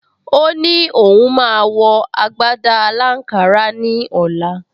O ní òun máa wọ agbádá aláǹkárá ní ọ̀la